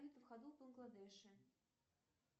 в ходу в бангладеше